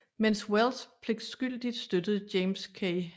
Mens Welles pligtskyldigt støttede James K